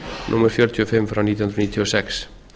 númer fjörutíu og fimm nítján hundruð níutíu og sex